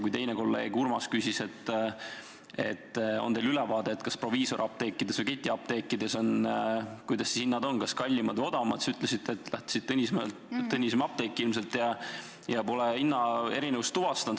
Kui kolleeg Urmas küsis, kas teil on ülevaade, kuidas siis proviisoriapteekides ja ketiapteekides hinnad on, kus kallimad, kus odavamad, siis te ütlesite, et olete käinud Tõnismäel apteegis ja pole hinnaerinevust tuvastanud.